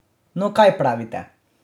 No, kaj pravite?